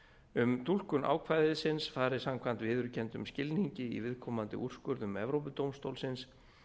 um túlkun ákvæðisins fari samkvæmt viðurkenndum skilningi í viðkomandi úrskurðum evrópudómstólsins